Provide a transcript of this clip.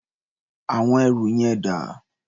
Àwọn ẹrù yẹn dà?